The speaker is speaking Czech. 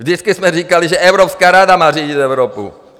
Vždycky jsme říkali, že Evropská rada má řídit Evropu!